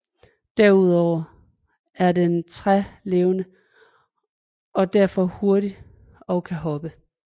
Derudover er den trælevende og er derfor hurtig og kan hoppe